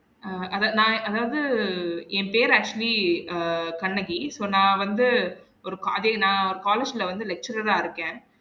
அஹ் அதா~ நா அதாவது என் பேரு actually அ கண்ணகி so நா வந்து ஒரு நா college வந்து lecturer ஆ இருக்கன்